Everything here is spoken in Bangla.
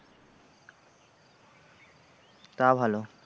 তা ভালো।